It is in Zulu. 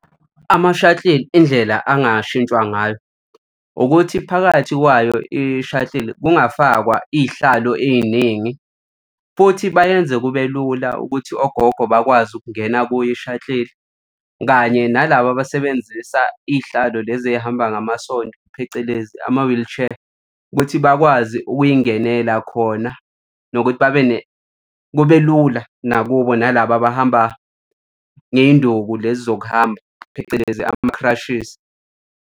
Ama-shuttle indlela angashintshwa ngayo ukuthi phakathi kwayo i-shuttle kungafakwa iy'hlalo ey'ningi. Futhi bayenze kube lula ukuthi ogogo bakwazi ukungena kuyo i-shuttle kanye nalaba abasebenzisa iy'hlalo lezi ey'hamba ngamasondo phecelezi ama-wheelchair ukuthi bakwazi ukuy'ngenela khona nokuthi babe kube lula nakubo nalaba abahamba ngey'nduku lezi zokuhamba, phecelezi ama-crutches.